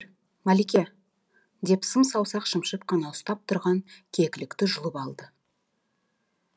малике деп сым саусақ шымшып қана ұстап тұрған кекілікті жұлып алды